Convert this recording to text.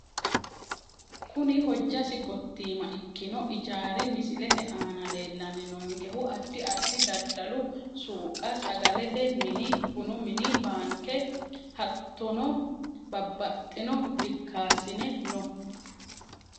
Kuni hojasi gotiimma ikino ijaari misilete aana leelani noonkehu adi adi dadalu suuqa sagalete mini bunu mini baanke hatonobabaxitino dikaasine no.